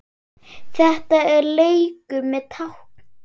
Þetta er leikur með tákn